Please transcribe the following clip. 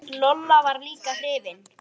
Lolla var líka hrifin.